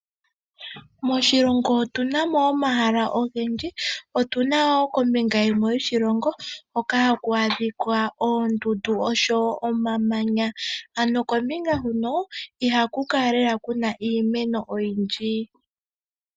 Moshilongo otuna mo omahala ogendji, otuna kombinga yimwe yoshilongo hoka haku adhika oondundu oshowo omamanya kombinga huno ihaku kala lela kuna iimeno oyindji.